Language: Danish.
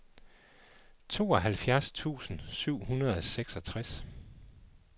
tooghalvfjerds tusind syv hundrede og seksogtres